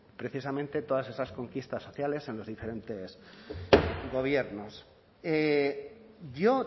precisamente todas esas conquistas sociales en los diferentes gobiernos yo